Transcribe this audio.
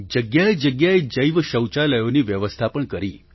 જગ્યાએજગ્યાએ જૈવ શૌચાલયોની વ્યવસ્થા પણ કરી